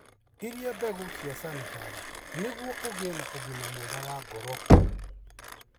Iria mbeũ cia sunflower nĩguo ũgĩe na ũgima mwega wa ngoro.